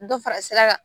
Dɔ fara sira kan